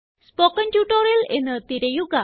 spoken tutorial എന്ന് തിരയുക